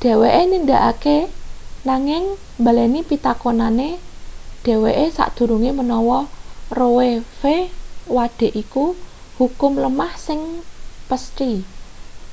dheweke nindakake nanging mbaleni pitakonane dheweke sadurunge menawa roe.v wade iku hukum lemah sing pesthi”